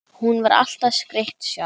Hún var alltaf skreytt sjálf.